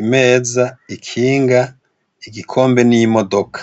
imeza, ikinga , igikombe n’imodoka.